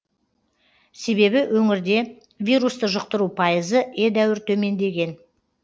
себебі өңірде вирусты жұқтыру пайызы едәуір төмендеген